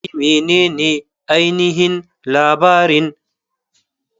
Wai menene ainihin labarin?